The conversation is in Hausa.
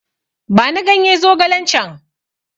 Bani ganye zogalen can!